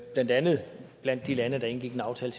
blandt andet blandt de lande der indgik en aftale